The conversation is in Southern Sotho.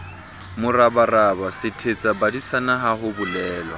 morabaraba sethetsabadisana ha ho bolelwa